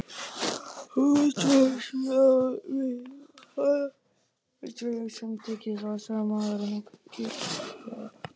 Útvarpsráð myndi aldrei samþykkja það, sagði maðurinn ákveðið.